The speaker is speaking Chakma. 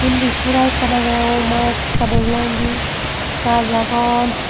undi sora ekkan agey oma ekka dol noi indi gaas agon.